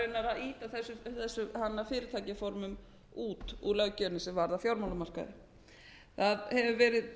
því að reyna að ýta þessum fyrirtækjaformum út úr löggjöfinni sem varðar fjármálamarkaðinn það hefur verið